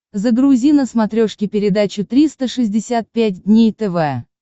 загрузи на смотрешке передачу триста шестьдесят пять дней тв